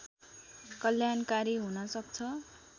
कल्याणकारी हुन सक्छ